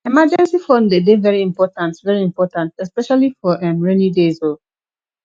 emergency fund de dey very important very important especially for um rainy days um